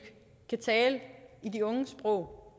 kan tale de unges sprog